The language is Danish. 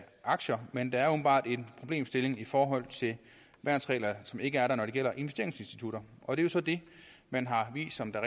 aktier men der er åbenbart en problemstilling i forhold til værnsregler som ikke er der når det gælder investeringsinstitutter og det er så det man har vist som der